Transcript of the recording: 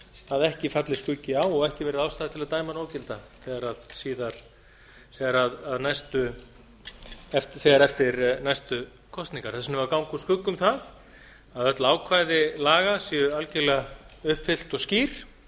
að ekki falli skuggi á og ekki verði ástæða til að dæma hana ógilda þegar eftir næstu kosningar þess vegna eigum við að ganga úr skugga um það að öll ákvæði laga séu algjörlega uppfyllt og skýr